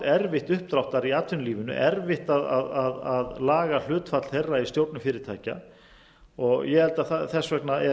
erfitt uppdráttar í atvinnulífinu erfitt að laga hlutfall þeirra í stjórnum fyrirtækja þess vegna er